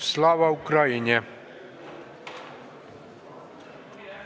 Slava Ukraini!